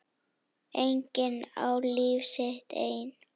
Enginn á líf sitt einn.